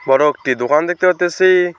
বড় একটি দুকান দেখতে পারতেসি।